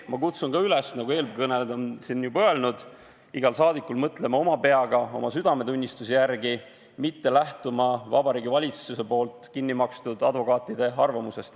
Ma kutsun ka üles nagu nii mõnigi eelkõneleja: iga rahvasaadik võiks mõelda oma peaga ja hääletada oma südametunnistuse järgi, mitte lähtudes Vabariigi Valitsuse kinni makstud advokaatide arvamusest.